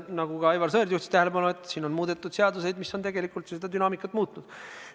Nagu ka Aivar Sõerd juhtis tähelepanu, on muudetud seadusi, mis tegelikult on dünaamikat muutnud.